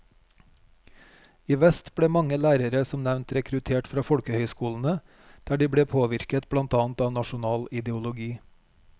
I vest ble mange lærere som nevnt rekruttert fra folkehøyskolene, der de ble påvirket blant annet av nasjonal ideologi.